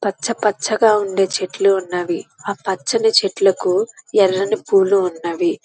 పచ్చ పచ్చగా ఉండే చెట్లు ఉన్నవి. అహ చెట్లకి ఎర్రటి పూవుల ఉన్నవి.